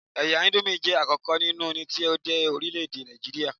Ẹ̀ya íńdómì jẹ́ àkọ́kọ́ núdù tí ó dé orílẹ̀ Nàìjíríà.